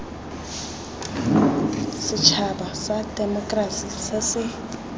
setšhaba sa temokerasi se se